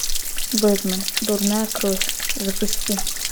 бэтмен дурная кровь запусти